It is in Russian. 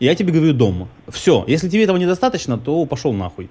я тебе говорю дома все если тебе этого недостаточно то пошёл нахуй